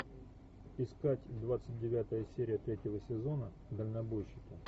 искать двадцать девятая серия третьего сезона дальнобойщики